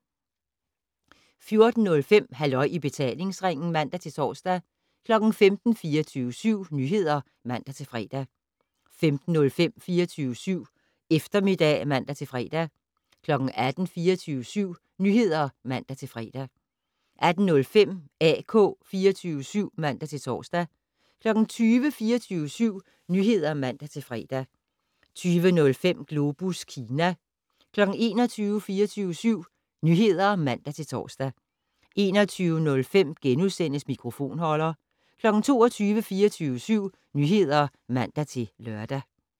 14:05: Halløj i betalingsringen (man-tor) 15:00: 24syv Nyheder (man-fre) 15:05: 24syv Eftermiddag (man-fre) 18:00: 24syv Nyheder (man-fre) 18:05: AK 24syv (man-tor) 20:00: 24syv Nyheder (man-fre) 20:05: Globus Kina 21:00: 24syv Nyheder (man-tor) 21:05: Mikrofonholder * 22:00: 24syv Nyheder (man-lør)